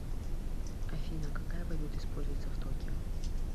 афина какая валюта используется в токио